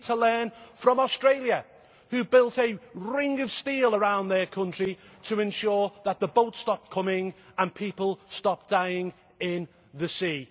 We need to learn from Australia, which built a ring of steel around their country to ensure that the boats stopped coming and people stopped dying in the sea.